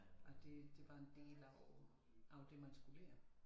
At det det var en del af af det man skulle lære